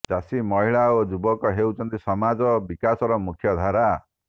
ଚାଷୀ ମହିଳା ଓ ଯୁବକ ହେଉଛନ୍ତି ସମାଜ ବିକାଶର ମୁଖ୍ୟ ଧାରା